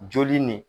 Joli nin